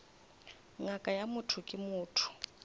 ngaka ya motho ke motho